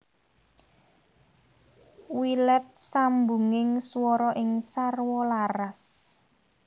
Wilet sambunging swara sing sarwa laras